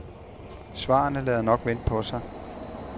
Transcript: Svarene lader nok vente på sig.